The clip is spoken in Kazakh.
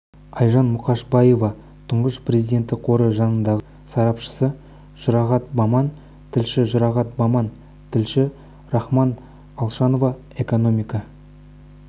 айжан мұқышбаева тұңғыш президенті қоры жанындағы сарапшысы жұрағат баман тілші жұрағат баман тілші рахман алшанов экономика